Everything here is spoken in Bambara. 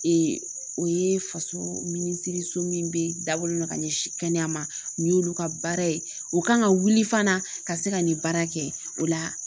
Ee o ye faso minisiri so min bɛ dabɔlen don ka ɲɛsin kɛnɛya ma nin y'olu ka baara ye o kan ka wuli fana ka se ka nin baara kɛ o la